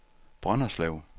Brønderslev